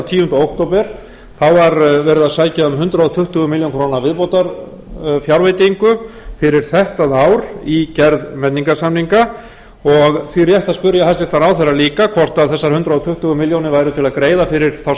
tíunda október þá var verið að sækja um hundrað tuttugu milljónir króna viðbótarfjárveitingu fyrir þetta ár í gerð menningarsamninga og því rétt að spyrja hæstvirtan ráðherra líka hvort þessar hundrað tuttugu milljónir væru til að greiða fyrir þá